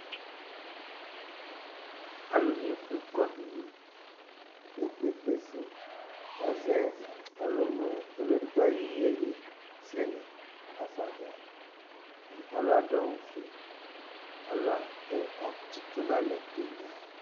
Alu ni efʋe kɔ nʋ ʋne kpe kpe kpe kpe su kʋ azɛ ɔlʋlu, ɔlu ɛdigbo ayʋ iyeyi zɛlɛ hafa ava Alu adu awu fʋe Alu atsitu nʋ alɛ